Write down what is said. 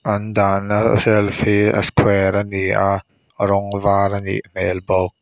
an dahna shelf hi a square a ni a rawng var a nih hmel bawk.